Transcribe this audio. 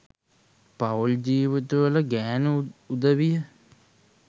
පවුල් ජීවිතවල ගෑණු උදවිය